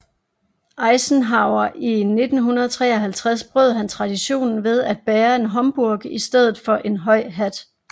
Eisenhower i 1953 brød han traditionen ved at bære en homburg i stedet for en høj hat